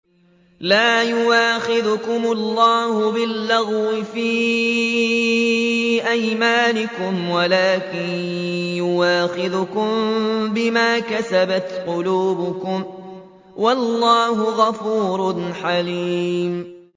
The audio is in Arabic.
لَّا يُؤَاخِذُكُمُ اللَّهُ بِاللَّغْوِ فِي أَيْمَانِكُمْ وَلَٰكِن يُؤَاخِذُكُم بِمَا كَسَبَتْ قُلُوبُكُمْ ۗ وَاللَّهُ غَفُورٌ حَلِيمٌ